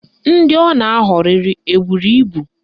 Ndị ọ na-aghọrịrị eburu ibu?